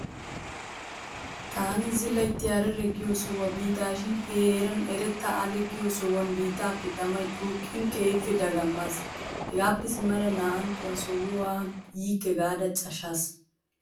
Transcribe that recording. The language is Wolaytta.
Taani zilayitti Harare giyo sohuwa biidaashin he heeran Erta Ale giyo sohuwan biittaappe tamay xuuqqiin keehippe dagammaas. Hegaappe simmada naa'antto ha sohuwa yiikke gaada cashaas.